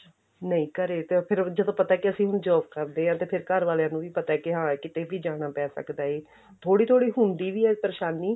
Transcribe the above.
ਨਹੀਂ ਘਰੇ ਤੇ ਫਿਰ ਤੇ ਜਦੋਂ ਪਤਾ ਕਿ ਅਸੀਂ ਹੁਣ job ਕਰਦੇ ਆਂ ਤੇ ਫਿਰ ਘਰ ਵਾਲਿਆਂ ਨੂੰ ਵੀ ਪਤਾ ਕੀ ਹਾਂ ਕੀਤੇ ਵੀ ਜਾਣਾ ਪੈ ਸਕਦੇ ਏ ਥੋੜੀ ਥੋੜੀ ਹੁੰਦੀ ਵੀ ਏ ਪਰੇਸ਼ਾਨੀ